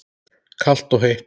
Kalt og heitt.